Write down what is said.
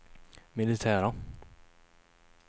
militära